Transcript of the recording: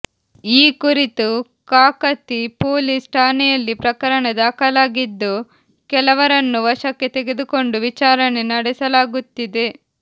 ಈ ಕುರಿತು ಕಾಕತಿ ಪೊಲೀಸ್ ಠಾಣೆಯಲ್ಲಿ ಪ್ರಕರಣ ದಾಖಲಾಗಿದ್ದು ಕೆಲವರನ್ನು ವಶಕ್ಕೆ ತೆಗೆದುಕೊಂಡು ವಿಚಾರಣೆ ನಡೆಸಲಾಗುತ್ತಿದೆ